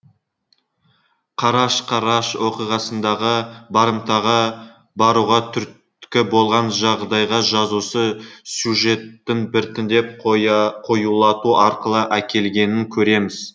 қараш қараш оқиғасындағы барымтаға баруға түрткі болған жағдайға жазушы сюжетті біртіндеп қоюлату арқылы әкелгенін көреміз